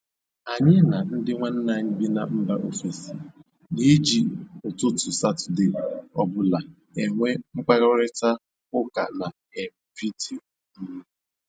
Anyị na ndị nwanne anyị bị mba bị mba ofesi na-eji ụtụtụ Satọde ọbụla enwe mkparịta ụka na um vidio um